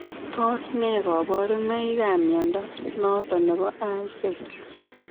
Tos nee kabarunaik ab mnyondo noton nebo I cell?